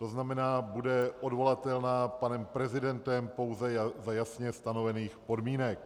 To znamená bude odvolatelná panem prezidentem pouze za jasně stanovených podmínek.